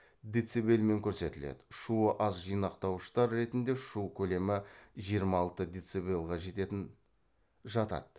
децибелмен көрсетіледі шуы аз жинақтауыштар ретінде шу көлемі жиырма алты децибелға жететін жатады